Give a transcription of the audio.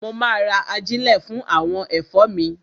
Mo ma ra ajílẹ̀ fún àwọn ẹ̀fọ́ mi.